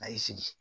A y'i sigi